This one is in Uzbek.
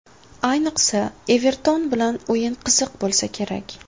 Ayniqsa, ‘Everton’ bilan o‘yin qiziq bo‘lsa kerak.